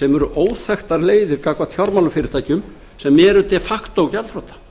sem eru óþekktar leiðir gagnvart fjármálafyrirtækjum sem eru de facto gjaldþrota